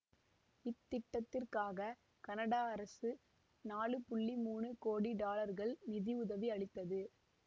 இத்திட்டத்திற்காக Canada அரசு நான்கு மூணு கோடி டாலர்கள் நிதி உதவி அளித்தது